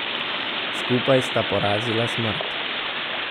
Skupaj sta porazila smrt!